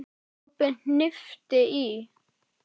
Kobbi hnippti í